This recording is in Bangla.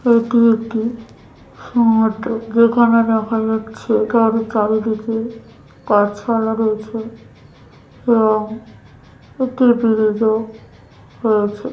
এটি একটি সমুদ্র যেখানে দেখা যাচ্ছে কার চারিদিকে গাছপালা রয়েছে এবং একটি ব্রিজ ও রয়েছে।